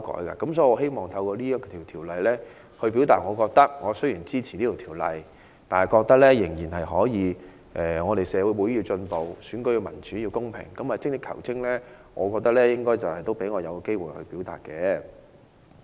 所以，我希望透過對這次辯論，表達我雖然支持《條例草案》，但我覺得社會要進步，選舉要民主、要公平，精益求精，應該讓我有機會表達。